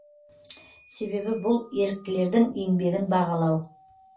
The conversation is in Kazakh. себебі бұл еріктілердің еңбегін бағалау